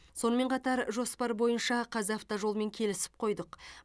сонымен қатар жоспар бойынша қазавтожолмен келісіп қойдық